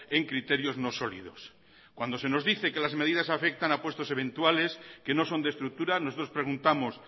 en criterios no sólidos cuando se nos dice que las medidas afectan a puestos eventuales que no son de estructura nosotros preguntamos